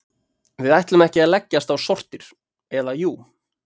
Við ætlum ekki að leggjast á sortir, eða jú.